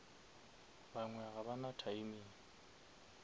bangwe ga ba na timing